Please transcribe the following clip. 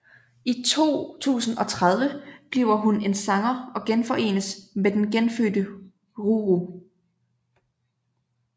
I 2030 bliver hun en sanger og genforenes med den genfødte Ruru